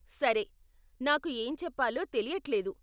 సరే, నాకు ఏం చెప్పాలో తెలియట్లేదు.